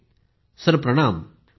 Poonam Nautiyal sir प्रणाम।